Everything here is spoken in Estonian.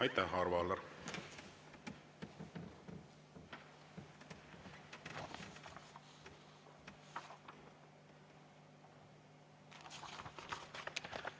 Aitäh, Arvo Aller!